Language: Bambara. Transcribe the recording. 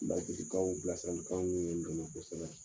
Basigikanw bilasiralikanw ye n dɛmɛ kosɛbɛ.